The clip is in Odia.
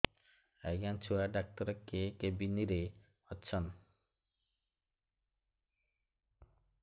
ଆଜ୍ଞା ଛୁଆ ଡାକ୍ତର କେ କେବିନ୍ ରେ ଅଛନ୍